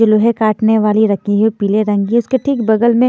जो लोहे काटने वाली रखी है पीले रंग की उसके ठीक बगल में--